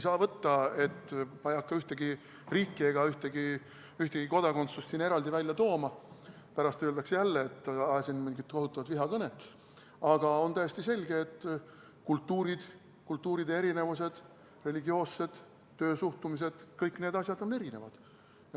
Ma ei hakka ühtegi riiki ega ühtegi ühtegi kodakondsust eraldi välja tooma, muidu pärast öeldakse jälle, et ajasin mingit kohutavat vihakõnet, aga on täiesti selge, et kultuurid, religioossus, töössesuhtumine – kõik need asjad on erinevad.